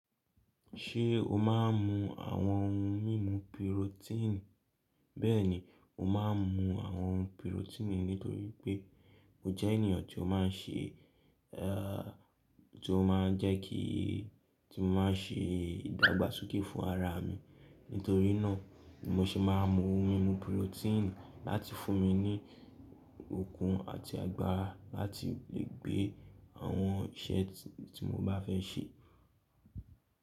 Ṣé o máa ń mu àwọn ohun mímu pirotínì? Bẹ́ẹ̀ni, mo máa ń mu àwọn pirotínì nítorí pé mo jẹ́ ènìyàn tí ó máa ń ṣe, ti ó máa ń jẹ́ kí tí mo maá n ṣe ìdàgbàsókè fún ara mi. Nítorí náà mo sì máa ń mu ohun mímu pirotínì láti fún mi ní okun àti agbára láti lè gbé àwọn iṣẹ́ tí mo bá fẹ́ ṣe.